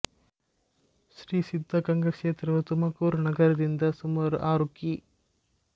ಶ್ರೀ ಸಿದ್ಧಗಂಗಾ ಕ್ಷೇತ್ರವು ತುಮಕೂರು ನಗರದಿಂದ ಸುಮಾರು ಆರು ಕಿ